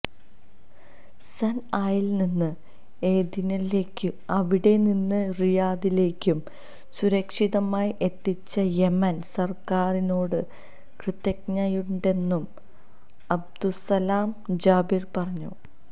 സൻആയിൽനിന്ന് ഏദനിലേക്കും അവിടെനിന്ന് റിയാദിലേക്കും സുരക്ഷിതമായി എത്തിച്ച യെമൻ സർക്കാരിനോട് കൃതജ്ഞതയുണ്ടെന്നും അബ്ദുസ്സലാം ജാബിർ പറഞ്ഞു